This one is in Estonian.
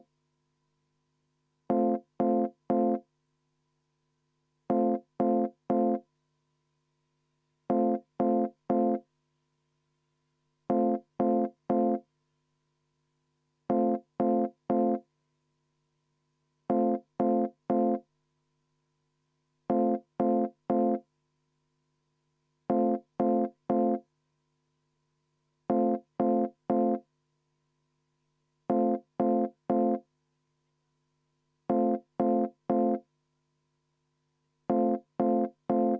Kümme minutit vaheaega.